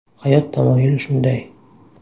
Hayot tamoyili shunday.